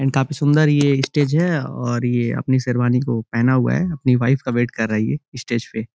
And काफ़ी सुंदर ये स्टेज है और ये अपनी शेरवानी को पहना हुआ है अपनी वाइफ का वेट कर रहा है ये स्टेज पे।